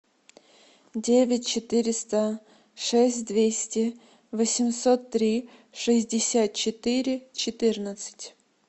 девять четыреста шесть двести восемьсот три шестьдесят четыре четырнадцать